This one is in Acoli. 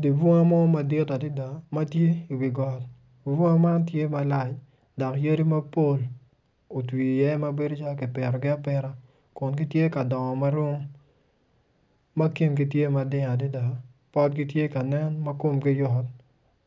Dye bonga mo madit adada matye i wi got bunga man tye malac dok aydi mapol otwi iye ma bedo cal kipitogi apita kun gitye ka dongo marom ma kingi tye mading adada potgi tye kanen ma komgi yot